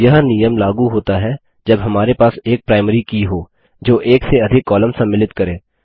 यह नियम लागू होता है जब हमारे पास एक प्राइमरी की हो जो एक से अधिक कॉलम सम्मिलित करे